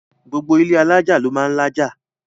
gbogbo ilé alájà ló máà ń lájà